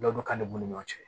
Dɔ k'an de b'u ni ɲɔgɔn cɛ